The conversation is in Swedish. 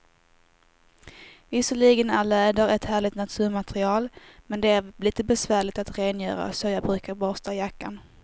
Visserligen är läder ett härligt naturmaterial, men det är lite besvärligt att rengöra, så jag brukar borsta jackan.